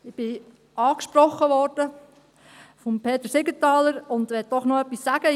Ich wurde von Peter Siegenthaler angesprochen und möchte doch noch etwas dazu sagen.